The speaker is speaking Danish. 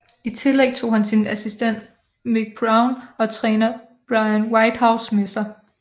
I tillæg tog han sin assistent Mick Brown og træner Brian Whitehouse med sig